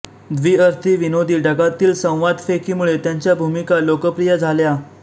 द्विअर्थी विनोदी ढंगातील संवादफेकीमुळे त्यांच्या भूमिका लोकप्रिय झाल्या